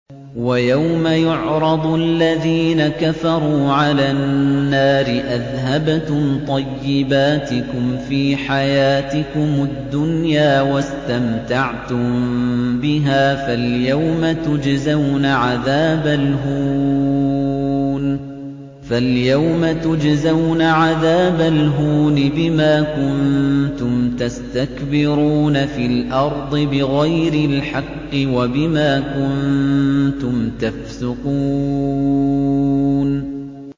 وَيَوْمَ يُعْرَضُ الَّذِينَ كَفَرُوا عَلَى النَّارِ أَذْهَبْتُمْ طَيِّبَاتِكُمْ فِي حَيَاتِكُمُ الدُّنْيَا وَاسْتَمْتَعْتُم بِهَا فَالْيَوْمَ تُجْزَوْنَ عَذَابَ الْهُونِ بِمَا كُنتُمْ تَسْتَكْبِرُونَ فِي الْأَرْضِ بِغَيْرِ الْحَقِّ وَبِمَا كُنتُمْ تَفْسُقُونَ